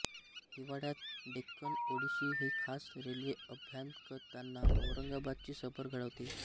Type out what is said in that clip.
हिवाळ्यात डेक्कन ओडिसी ही खास रेल्वे अभ्यागतांना औरंगाबादची सफर घडवते